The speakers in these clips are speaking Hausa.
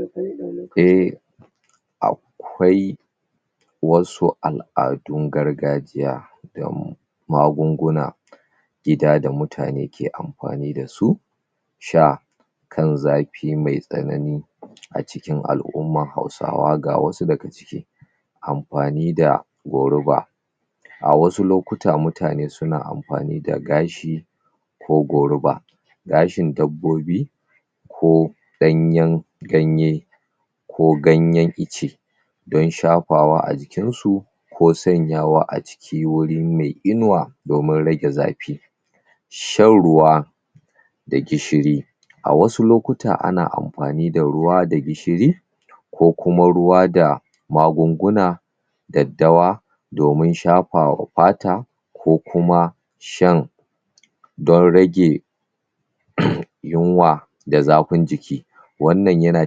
uhm akwai wasu al'adun gargajiya da magunguna gida da mutane ki anfani dasu sha kan zafi mai tsanani acikin al'umman hausawa ga wasu daga ciki anfani da goruba a wasu lokuta mutane na anfani da gashi ko goruba gashin dabbobi ko ɗanyan ganye ko ganyan ice dan shafawa a jikin su ko sanyawa aciki gure mai inuwa domin rage zafi shan ruwa da gishiri a wasu lokuta ana anfani da ruwa da gishiri kokuma ruwa da magunguna daddawa domin shafawa fata kokuma shan dan rage yunwa da zafin jiki wannan yana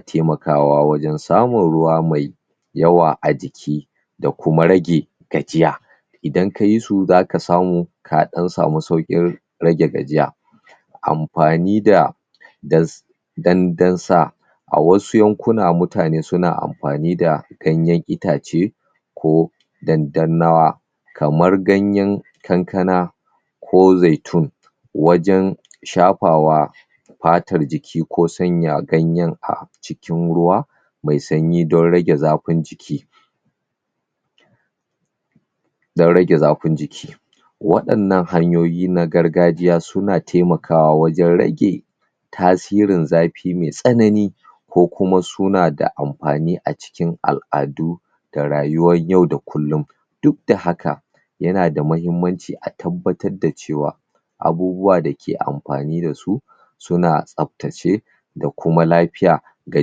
taimakawa wajan samun ruwa mai yawa a jiki dakuma rage gajiya idan kayesu zaka samu kadan samu sauƙin rage gajiya anfani da dan dasa awasu yankuna mutane suna anfani da ganyan itace ko dandan nawa kamar ganyan kankana ko zaitun wajan shafawa fatar jiki ko sanya ganyen a cikin ruwa mai sanyi dan rage zafin jiki dan rage zafin jiki wainnan hanyoyi na gargajiya suna taimakawa wajan rage tasirin zafi mai tsanani kokuma sunada anfani acikin al'adu da rayuwan yau da kullum dukda haka yanada mahimmanci a tabbatar da cewa abubuwa daki anfani dasu suna tsaftace dakuma lafiya da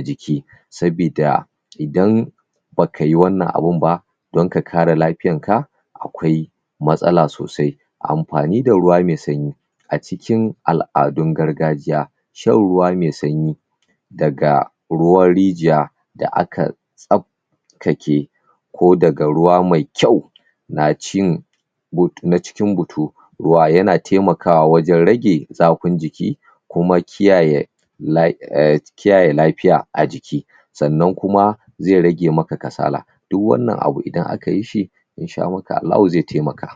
jiki sabida idan bakayi wannan abun ba dan ka kare lafiyan ka akwai matsala sosai anfani da ruwa mai sanyi acikin al'adun gargajiya shan ruwa mai sanyi daga ruwan rigiya da aka tsaftace ko daga ruwa mai kyau na cin but nacikin butu ruwa yana taimakawa wajan rage zafin jiki kuma kiyaye la uhm? kiyaye lafiya a jiki sannan kuma zai rage maka kasala duk wannan abu idan aka yishi inshamakallahu zai taimaka